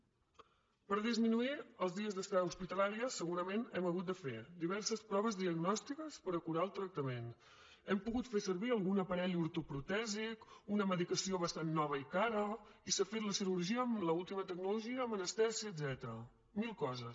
per disminuir els dies d’estada hospitalària segurament hem hagut de fer diverses proves diagnòstiques per acurar el tractament hem pogut fer servir algun aparell ortoprotèsic una medicació bastant nova i cara i s’ha fet la cirurgia amb l’última tecnologia amb anestèsia etcètera mil coses